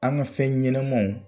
An ka fɛn ɲɛnamaw